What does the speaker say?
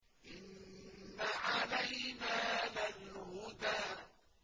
إِنَّ عَلَيْنَا لَلْهُدَىٰ